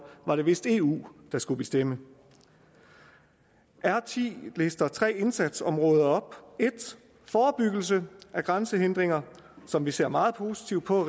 var det vist eu der skulle bestemme r ti oplister tre indsatsområder 1 forebyggelse af grænsehindringer som vi ser meget positivt på